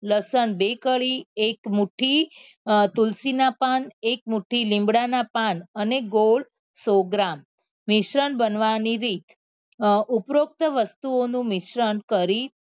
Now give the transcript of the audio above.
લસણ બે કળી એક મુઠી તુલસી ના પાન એક મુઠી લીમડા ના પણ અને ગોળ સો ગ્રામ મિશ્રણ બનવા ની રીત અ ઉપરોક્ત વસ્તુઓ નું મિશ્રણ કરી